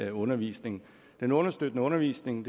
i undervisningen den understøttende undervisning